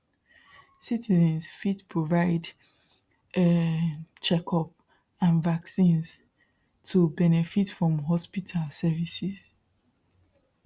citizens fit provide um checkups and vaccines to benefit from hospital services